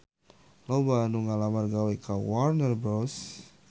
Loba anu ngalamar gawe ka Warner Bros